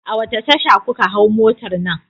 A wace tasha kuka hau motar nan?